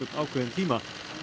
ákveðinn tíma